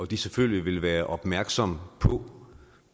de selvfølgelig vil være opmærksomme på